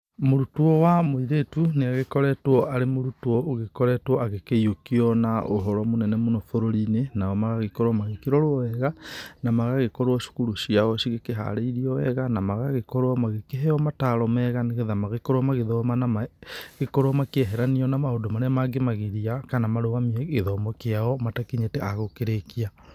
Mũrutwo wa mũirĩtu nĩ agĩkoretwo arĩ mũrutwo ũgĩkoretwo agĩkĩiyũkio na ũhoro mũnene mũno bũrũri-inĩ, nao magagĩkorwo magĩkĩrorwo wega na magagĩkorwo cukuru ciao cikĩharĩirio wega, na magagĩkorwo magĩkĩheyo mataro mega, nĩgetha magĩkorwo magĩthoma na magĩkorwo makĩeheranio na maũndũ marĩa mangĩmagiria, kana marũgamie gĩthomo kĩao matakinyĩte a gũkĩrĩkia.